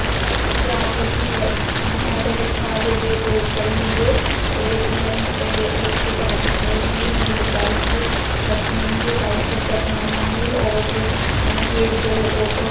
इसके आगे एक रे ऑटो रीक्शा जो है वो खड़ी हुई है और एक अंकल यहाँ पे उसको पकड़ के खड़े हुए हैं जिनको वाइट शर्ट पहनी हुई है वाइट चड्डा पहना हुआ है और ये जो ऑटो --